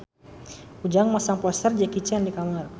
Ujang masang poster Jackie Chan di kamarna